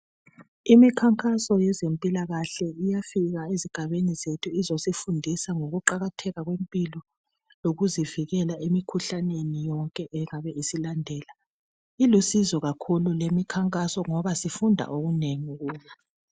Imikhankaso yezempilakahle iyafika ezigabeni zethu izosifundisa ngokuqakatheka kwempilo lokuzivikela emkhuhlaneni yonke engabe isilandela. ulusizo kakhulu leyi mikhankaso ngoba sifunda okunengi kuyo.